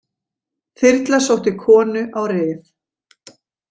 Þyrla sótti konu á Rif